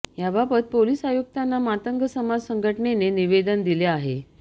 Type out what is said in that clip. याबाबत पोलीस आयुक्तांना मातंग समाज संघटनेने निवेदन दिले आहे